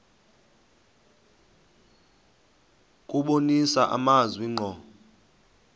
kubonisa amazwi ngqo